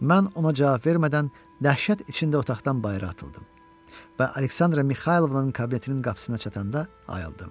Mən ona cavab vermədən dəhşət içində otaqdan bayıra atıldım və Aleksandra Mixaylovnanın kabinetinin qapısına çatanda ayıldım.